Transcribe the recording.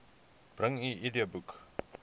bring u idboek